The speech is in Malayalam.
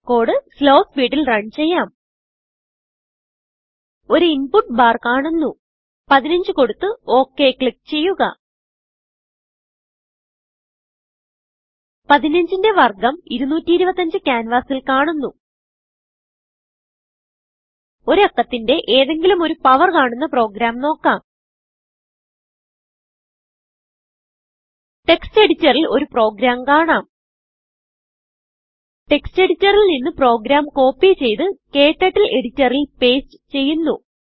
കോഡ് slowസ്പീഡിൽ റൺ ചെയ്യാം ഒരു ഇൻപുട്ട് ബാർ കാണുന്നു 15കൊടുത്ത് ഒക് ക്ലിക്ക് ചെയ്യുക 15ന്റെ വർഗം 225ക്യാൻവാസിൽ കാണുന്നു ഒരു അക്കത്തിന്റെ ഏതെങ്കിലും ഒരു പവർ കാണുന്ന പ്രോഗ്രാം നോക്കാം ടെക്സ്റ്റ് എഡിറ്ററിൽ ഒരു പ്രോഗ്രാം കാണാം textഎഡിറ്ററിൽ നിന്ന് പ്രോഗ്രാം കോപ്പി ചെയ്ത് ക്ടർട്ടിൽ എഡിറ്ററിൽ പേസ്റ്റ് ചെയ്യുന്നു